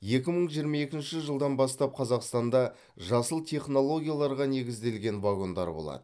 екі мың жиырма екінші жылдан бастап қазақстанда жасыл технологияларға негізделген вагондар болады